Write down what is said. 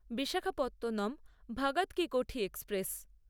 Visakhapatnam Bhagat Ki Kothi express